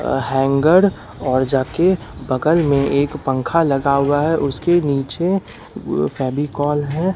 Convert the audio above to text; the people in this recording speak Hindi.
अ हैंगर और जा के बगल में एक पंखा लगा हुआ है उसके नीचे फेविकोल है।